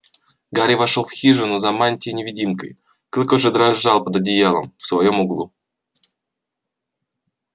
гарри вошёл в хижину за мантией-невидимкой клык уже дрожал под одеялом в своём углу